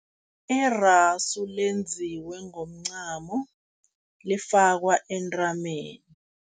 Irasu lenziwe ngomncamo, lifakwa entameni.